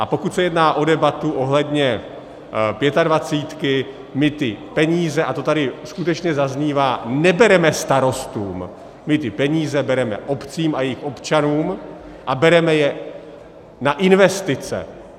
A pokud se jedná o debatu ohledně Pětadvacítky, my ty peníze - a to tady skutečně zaznívá - nebereme starostům, my ty peníze bereme obcím a jejich občanům a bereme je na investice.